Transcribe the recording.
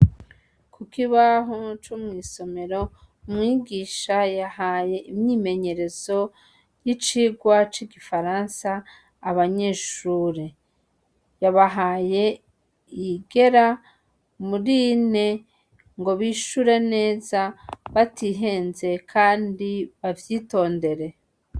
Kukibaho co mw'isomero ,umwigisha yahaye imyimenyerezo yicirwa c'igifaransa abanyeshure, yabahaye iyigera mur'ine ngo bishure neza batihenze kandi bavyitondere.